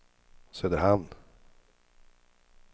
Söderhamn